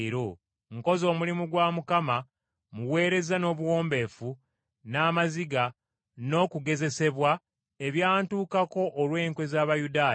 nkoze omulimu gwa Mukama mmuweereza n’obuwombeefu n’amaziga n’okugezesebwa ebyantukako olw’enkwe z’Abayudaaya.